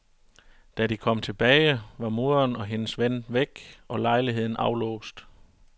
Da de kom tilbage, var moderen og hendes ven væk og lejligheden aflåst.